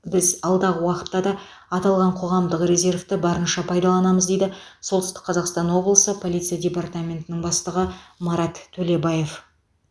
біз алдағы уақытта да аталған қоғамдық резервті барынша пайдаланамыз дейді солтүстік қазақстан облысы полиция департаментінің бастығы марат төлебаев